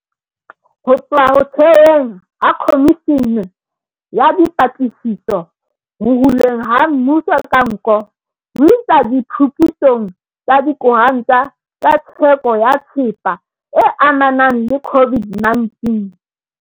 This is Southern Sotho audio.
Ho tloha ho theweng ha Khomishene ya Dipatlisiso Ho hulweng ha Mmuso ka Nko, ho isa diphuputsong tsa dikontraka tsa theko ya thepa e amanang le COVID-19,